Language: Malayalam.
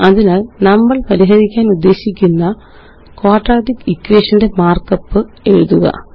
അതിനാല് നമ്മള് പരിഹരിക്കാനുദ്ദേശിക്കുന്ന ക്വാഡ്രാറ്റിക് ഇക്വേഷൻ ന്റെ മാര്ക്കപ്പ് എഴുതുക